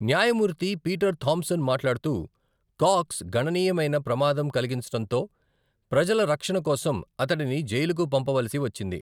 న్యాయమూర్తి Peter Thompson మాట్లాడుతూ, Cox గణనీయమైన ప్రమాదం కలిగించటంతో, ప్రజల రక్షణ కోసం అతడిని జైలుకు పంపవలసి వచ్చింది.